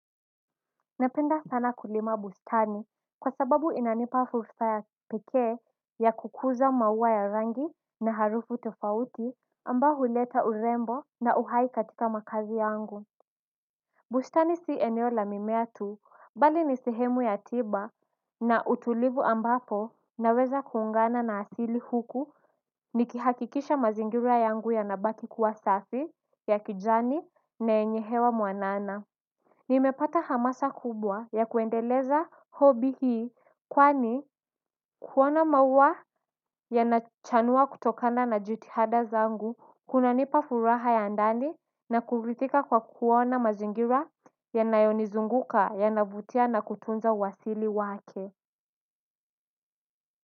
Napenda sana kulima bustani kwa sababu inanipa fursa ya kipekee ya kukuza maua ya rangi na harufu tofauti ambayo huleta urembo na uhai katika makaazi yangu bustani si eneo la mimea tu bali ni sehemu ya tiba na utulivu ambapo naweza kuungana na asili huku nikihakikisha mazingira yangu yanabaki kuwa safi ya kijani na yenye hewa mwanana. Nimepata hamasa kubwa ya kuendeleza hobi hii kwani kuona maua yanachanua kutokana na jutihada zangu kunanipa furaha ya ndani na kurithika kwa kuona mazingira yanayonizunguka yanavutia na kutunza uasili wake.